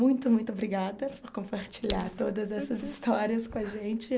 Muito, muito obrigada por compartilhar todas essas histórias com a gente.